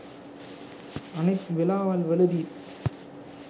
අනිත් වෙලාවල් වලදීත්